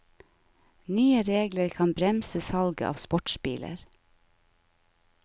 Nye regler kan bremse salget av sportsbiler.